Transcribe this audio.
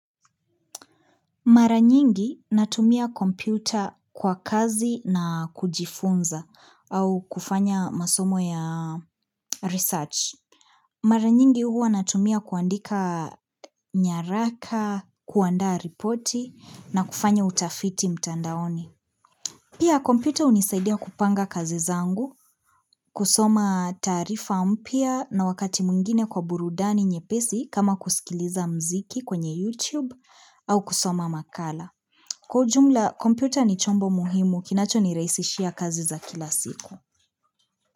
Mara nyingi natumia kompyuta kwa kazi na kujifunza au kufanya masomo ya research. Mara nyingi huwa natumia kuandika nyaraka, kuandaa ripoti na kufanya utafiti mtandaoni. Pia kompyuta hunisaidia kupanga kazi zangu, kusoma taarifa mpya na wakati mwingine kwa burudani nyepesi kama kusikiliza mziki kwenye YouTube au kusoma makala. Kwa ujumla, kompyuta ni chombo muhimu kinachonirahisishia kazi za kila siku.